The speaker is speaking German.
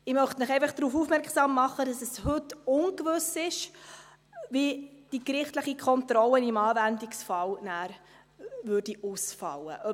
Ich möchte Sie einfach darauf aufmerksam machen, dass es heute ungewiss ist, wie die gerichtliche Kontrolle nachher im Anwendungsfall ausfallen würde.